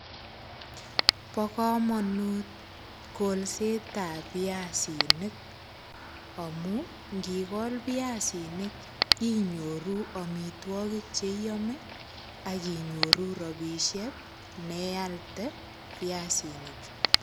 Bo kamanut kolsetab piasinik amu ngigol piasinik inyoru amitwogik che iyame ak inyoru ropisiek nealde piasini chu.